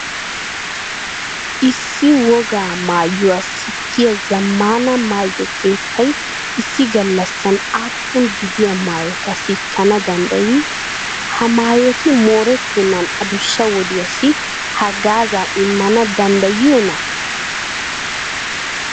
Issi wogaa maayuwa sikkiya zammaana maayo keettay issi gallassan aappunaa gidiya maayota sikkana danddayii? Ha maayoti moorettennan adussa wodiyassi haggaazaa immana danddayiyoonaa?